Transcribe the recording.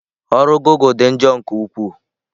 Ọrụ ozi gụgle dị njọ nke ukwuu.